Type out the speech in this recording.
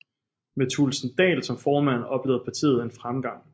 Med Thulesen Dahl som formand oplevede partiet en fremgang